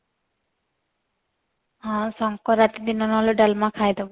ହଁ ସଙ୍କ୍ରାନ୍ତି ଦିନ ନହେଲେ ଡାଲମା ଖାଇଦବୁ